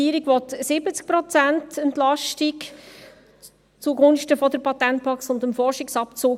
Die Regierung will 70 Prozent Entlastung zugunsten der Patentbox und des Forschungsabzugs.